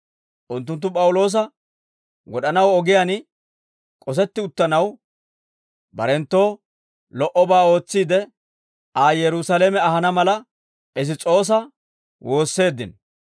Unttunttu P'awuloosa wod'anaw ogiyaan k'osetti uttanaw, barenttoo lo"obaa ootsiide Aa Yerusaalame ahana mala, Piss's'oosa woosseeddino.